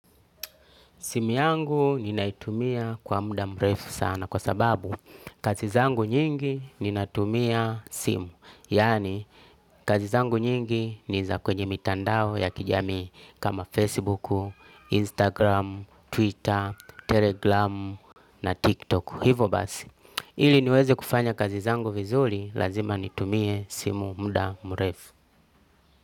Simu yangu ninaitumia kwa muda mrefu sana kwa sababu kazi zangu nyingi ninatumia simu. Yani kazi zangu nyingi ni za kwenye mitandao ya kijamii kama Facebook, Instagram, Twitter, Telegram na TikTok. Hivo basi. Ili niweze kufanya kazi zangu vizuri lazima nitumie simu muda mrefu.